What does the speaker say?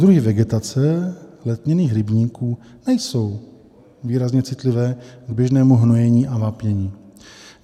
Druhy vegetace letněných rybníků nejsou výrazně citlivé k běžnému hnojení a vápnění.